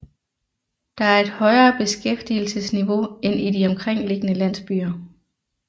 Der er et højere beskæftigelsesniveau end i de omkringliggende landsbyer